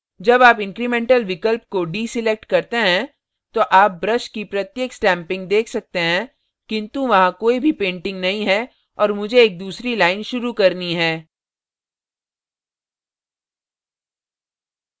जब आप incremental incremental विकल्प को deselect करते हैं तो आप brush की प्रत्येक stamping देख सकते हैं किन्तु वहां कोई भी painting नहीं है और मुझे एक दूसरी line शुरू करनी है